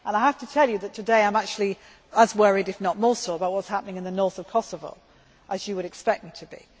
I have to tell you that, today, I am actually as worried, if not more so, about what is happening in the north of Kosovo, as you would expect me to be.